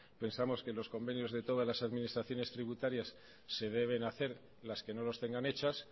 pensamos que los convenios de todas las administraciones tributarias se deben hacer las que no los tengan hechas